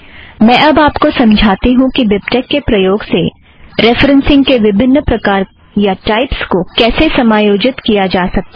मैं अब आप को समझाती हूँ कि बिबटेक के प्रयोग से रेफ़रेन्ससिंग के विभिन्न प्रकार या टाइपस को कैसे समायोजित किया जाता है